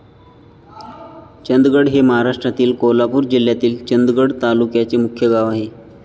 चंदगड हे महाराष्ट्रातील कोल्हापूर जिल्ह्यातील चंदगड तालुक्याचे मुख्य गाव आहे.